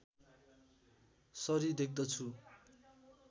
sorry देख्दछु